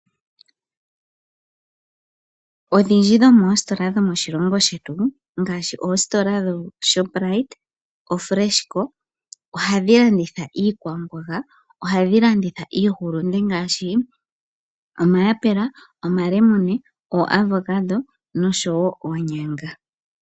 Odhindji dho moositola dho moshilongo shetu ngaashi oshoprite, fresh co ohadhi landitha iikwamboga ngaashi: omayapela, omalemune, oavocado nosho woo oonyanga.